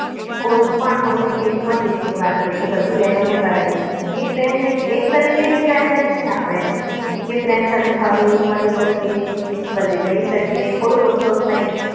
કોઈપણ મને કેવી પણ રીતની વાત હોય કે બધી બહેનોને કરાય એક બેન એક તરીકેની friend જ છે આપણે કે friend સાથે હરી ફરી શકીએ બધે જઈ શકીએ કોઈ રોકટોક નહીં